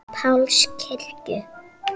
Páls kirkju.